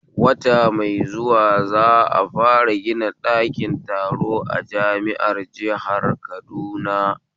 Wata mai zuwa za'a fara gina sabon ɓɗakin taro a jami'ar jihar Kaduna